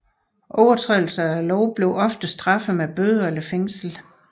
Overtrædelser af loven blev ofte straffet med bøder eller fængsel